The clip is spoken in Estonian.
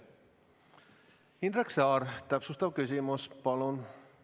Indrek Saar, täpsustav küsimus palun!